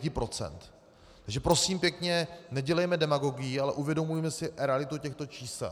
Takže prosím pěkně, nedělejme demagogii, ale uvědomujme si realitu těchto čísel.